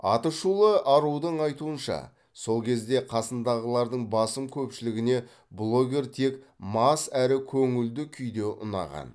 атышулы арудың айтуынша сол кезде қасындағылардың басым көпшілігіне блогер тек мас әрі көңілді күйде ұнаған